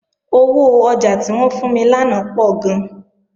Owó ọjà tí wọ́n fún mi lánàá pọ̀ gan